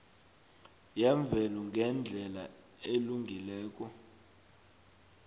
yemvelo ngendlela elungileko